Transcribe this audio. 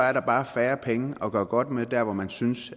er der bare færre penge at gøre godt med der hvor man synes